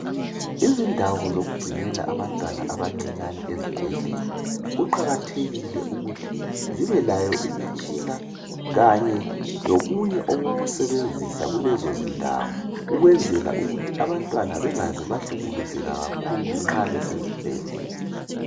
Izindawo zokugcinela abantwana abancinyani ezibhedlela, kuqakathekile ukuthi zibe layo imitshina kanye lokunye okokusebenzisa kulezondawo ukuze abantwana bengaze bahlukuluzeka kakhulu nxa besezibhedlela.